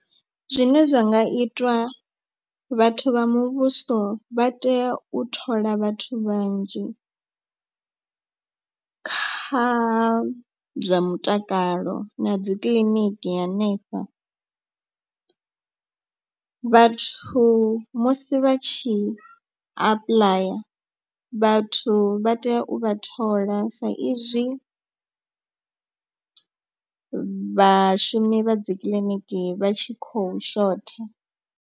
Zwine zwa nga itwa vhathu vha muvhuso vha tea u thola vhathu vhanzhi kha zwa mutakalo na dzi kiḽiniki ya hanefho. Vhathu musi vha tshi apuḽaya vhathu vha tea u vha thola sa izwi vhashumi vha dzi kiḽiniki vha tshi khou shotha.